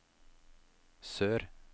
sør